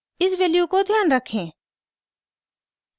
इस वैल्यू को ध्यान रखें